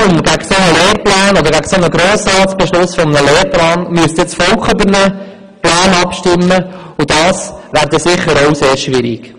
Im Falle eines Referendums gegen einen solchen vom Grossen Rat beschlossenen Lehrplan müsste dann das Volk darüber abstimmen, und das wäre sicher sehr schwierig.